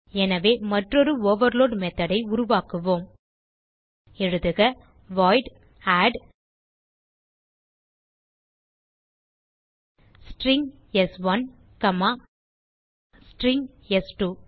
எனவே மற்றொரு ஓவர்லோட் methodஐ உருவாக்குவோம் எழுதுக வாய்ட் ஆட் ஸ்ட்ரிங் ஸ்1 காமா ஸ்ட்ரிங் ஸ்2